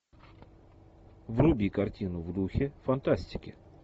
вруби картину в духе фантастики